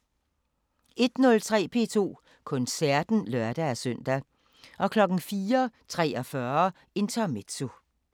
01:03: P2 Koncerten (lør-søn) 04:43: Intermezzo